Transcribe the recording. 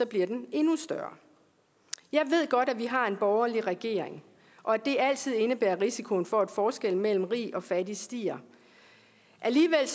bliver den endnu større jeg ved godt at vi har en borgerlig regering og at det altid indebærer risikoen for at forskellen mellem rig og fattig stiger alligevel